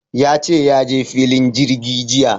Ya ce ya je filin jirgi jiya.